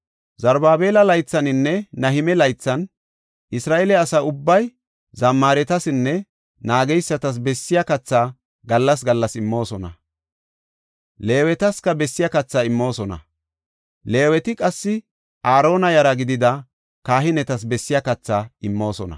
Zarubaabela laythaninne Nahime laythan Isra7eele asa ubbay zammaretasinne naageysatas bessiya kathaa gallas gallas immoosona. Leewetaska bessiya kathaa immoosona. Leeweti qassi Aarona yara gidida kahinetas bessiya kathaa immoosona.